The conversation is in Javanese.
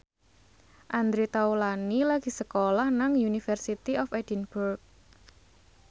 Andre Taulany lagi sekolah nang University of Edinburgh